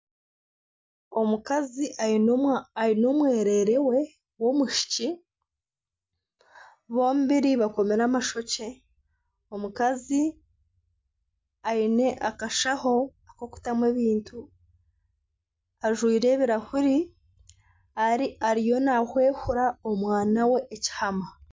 Omukazi aine omwereere we w'omwishiki. Bombiri bakomire amashokye. Omukazi aine akashaho k'okutamu ebintu, ajwaire ebirahuri. Ari ariyo nahwehura omwana we ekihama.